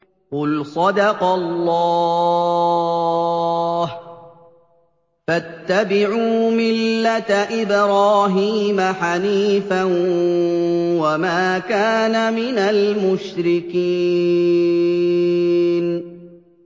قُلْ صَدَقَ اللَّهُ ۗ فَاتَّبِعُوا مِلَّةَ إِبْرَاهِيمَ حَنِيفًا وَمَا كَانَ مِنَ الْمُشْرِكِينَ